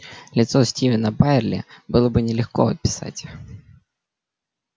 лицо стивена байерли было бы нелегко описать